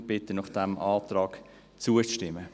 Darum bitte ich Sie, diesem Antrag zuzustimmen.